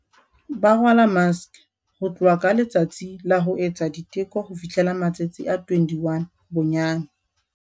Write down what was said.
Ba rwala maske, ho tloha ka letsatsi la ho etsa diteko ho fihla matsatsi a 21 bonyane.